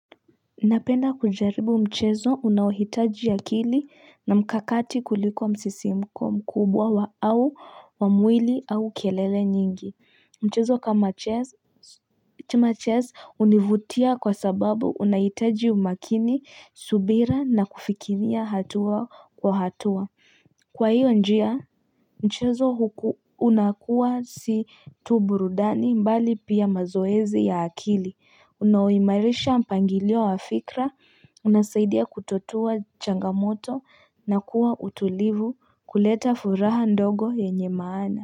Napenda kujaribu mchezo unaohitaji akili na mkakati kuliko msisimko mkubwa wa au wa mwili au kelele nyingi. Mchezo kama chess kama chess hunivutia kwa sababu unahitaji umakini, subira na kufikiria hatua kwa hatua. Kwa hiyo njia, mchezo unakuwa si tu burudani bali pia mazoezi ya akili. Unaoimarisha mpangilio wa fikra, unasaidia kutatua changamoto na kuwa utulivu kuleta furaha ndogo yenye maana.